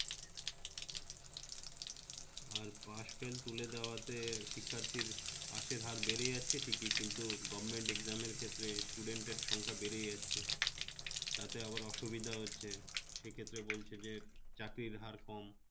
আর pass-fail তুলে দেওয়াতে শিক্ষার্থীর pass এর হার বেড়ে যাচ্ছে ঠিকই কিন্তু government exam এর ক্ষেত্রে student এর সংখ্যা বেড়ে যাচ্ছে, তাকে আবার অসুবিধা হচ্ছে সেক্ষেত্রে বলছে যে চাকরির হার কম